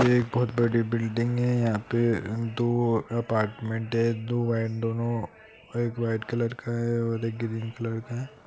ये एक बहुत बड़ी बिल्डिंग है यहाँ पे दो अपार्टमेंट है दो है दोनों एक वाईट कलर है और एक ग्रीन कलर का है।